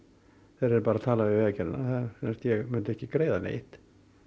þeir yrðu bara að tala við Vegagerðina ég myndi ekki greiða neitt